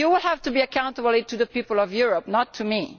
You have to be accountable to the people of Europe, not to me.